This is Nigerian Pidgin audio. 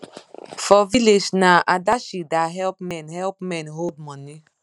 for village na adashi da help men help men hold money